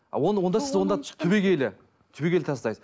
а оны онда сіз түбегейлі түбегейлі тастайсыз